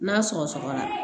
N'a sɔgɔ sɔgɔra